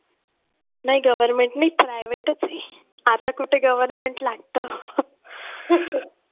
नाही Government नाही privet च आहे. आता कुठे government लागतं.